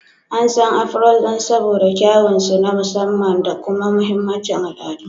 An san "Afros" saboda kyawun su na musamman da kuma mahimmancin al'adu.